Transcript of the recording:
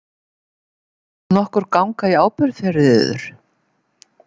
Vill nokkur ganga í ábyrgð fyrir yður?